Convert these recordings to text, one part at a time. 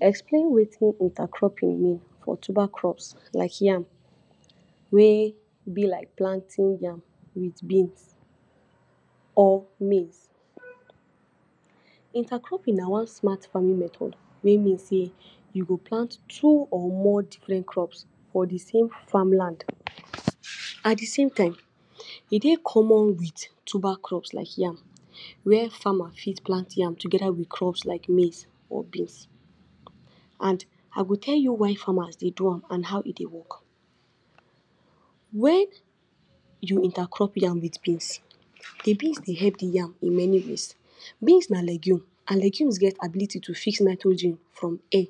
explain wetin inter cropping mean for tuber crops like yam way be like planting yam with beans or maize. intercropping na one smart farming method wey mean sey you go plant two or more different crop for de same farmland at de same time e de common with tuber crops like yam where farmer fit plant yam together with crops like maize or beans and I go tell you why farmers de do am and how e de work. when you intercrop yam with beans, de beans de help de yam in many ways beans na legume and legumes gets ability to fix nitrogen from air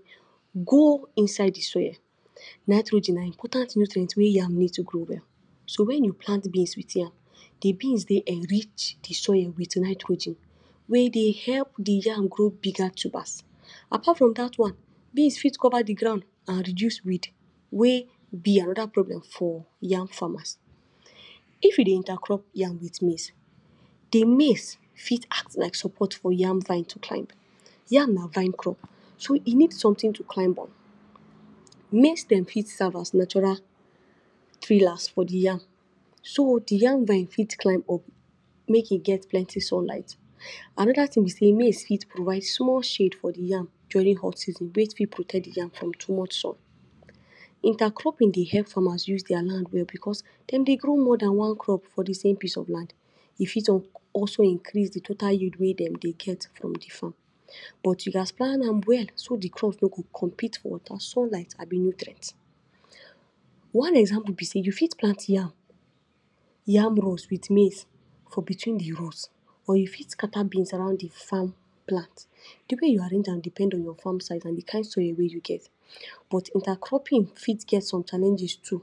go inside de soil. nitrogen now important nutrient wey yam need to grow well so when you plant beans with yam, de beans de enrich de soil with nitrogen wey de help de yam grow bigger tubers. apart from de one beans fit covered de ground and reduce weed wey be another problem for yam farmers. if you de intercrop yam with maize, de maize fit act like support for yam Vine to climb yam na Vine crop so e need something to climb up. Maize stem fit serve as natural pillars for de yam, so de yam vine fits climb up make e get plenty sunlight. Another thing be say maize fit provides small shade for de yam during hot season way fit protect de yam from too much sun. intercropping de help farmers use their land well because dem de grow more than one crop for de same piece of land he fit also increase de totally yield wey dem de get from de farm but you gas plan am well so de crop no go compete for water, sunlight, abi nutrients one example be say you fit plant yam, yam rows with maize for between de roots or you fix scatter beans around de farm plant. de way you arrange am depend on your farm size and de kind soil wey you get but intercropping fit get some challenges too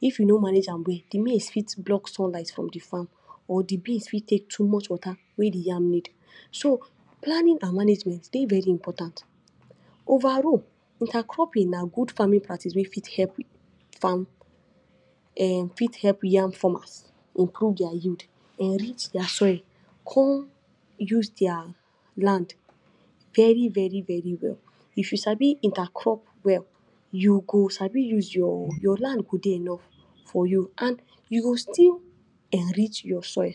if you know manager well de maize fit block sunlight from de farm or de beans fit take too much water wey de yam need so planning and management de very important over all, intercropping na good farming practices wey fit help farm[um]fit help yam farmers improve their yield, enrich their soil come use their land very very very well if you sabi intercrop well, you go sabi use, your land go de enough and you go still enrich your soil